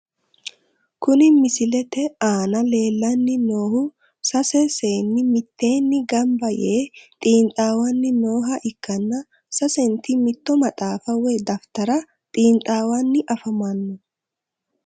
Kuni misilete aana leellanni noohu sase saanni mitteenni gamba yee xiinxaawanni nooha ikkana ,sasenti mitto maxaafa woy dafitara xiinxaawanni afamanno.